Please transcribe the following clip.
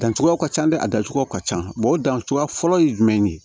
Dancogo ka can dɛ a dancogo ka ca o dan cogoya fɔlɔ ye jumɛn ye